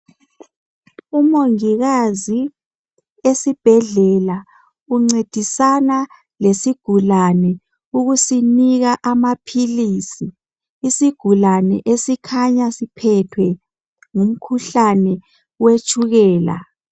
Umongikazi esibhedlela uncedisana lesigulane ukusinika maphilisis isigulani esikhanya siphethwe ngumkhuhlane wetshukela.